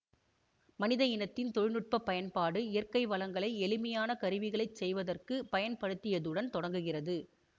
மனித இனத்தின் தொழினுட்பப் பயன்பாடு இயற்கை வளங்களை எளிமையான கருவிகளைச் செய்வதற்குப் பயன்படுத்தியதுடன் தொடங்குகிறது